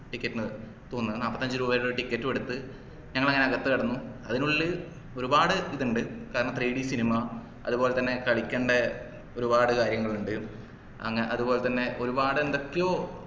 ticket നു തോന്നുന്നു നാല്പത്തിഅഞ്ചു രൂപേരെ ticket ഉ എടുത്ത് ഞങ്ങളങ്ങനെ അകത്തു കടന്നു അതിനുള്ളില് ഒരുപാട് ഇത് ഇണ്ട് കാരണം three d cinema അതുപോലെതന്നെ കളിക്കേണ്ട ഒരുപാട് കാര്യങ്ങളുണ്ട് അങ്ങ അതുപോലെതന്നെ ഒരുപാട് എന്തൊക്കെയോ